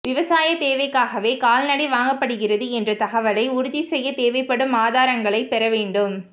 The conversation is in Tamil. விவசாய தேவைக்காகவே கால்நடை வாங்கப்படுகிறது என்ற தகவலை உறுதி செய்ய தேவைப்படும் ஆதாரங்களை பெறவேண்டும்